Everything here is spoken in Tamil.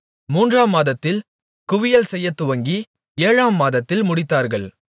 மூன்றாம் மாதத்தில் குவியல் செய்யத்துவங்கி ஏழாம் மாதத்தில் முடித்தார்கள்